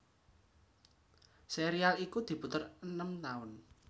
Serial iku diputer enem taun